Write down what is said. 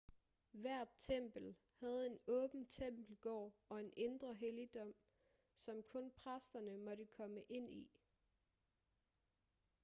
hvert tempel havde en åben tempelgård og en indre helligdom som kun præsterne måtte komme ind i